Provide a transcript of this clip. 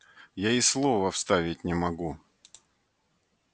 я и слова вставить не могу